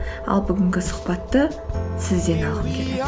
ал бүгінгі сұхбатты сізден алғым келеді